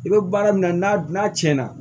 I bɛ baara min na n'a tiɲɛna